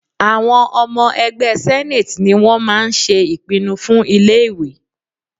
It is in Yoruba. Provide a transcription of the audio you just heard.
Àwọn ọmọ ẹgbẹ́ senate ni wọ́n máa ń ṣe ìpinnu fún ilé ìwé.